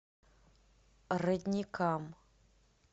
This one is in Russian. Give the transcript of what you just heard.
родникам